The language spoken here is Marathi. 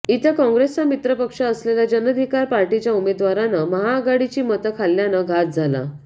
इथं काँग्रेसचा मित्र पक्ष असलेल्या जनाधिकार पार्टीच्या उमेदवारानं महाआघाडीची मतं खाल्ल्यानं घात झाला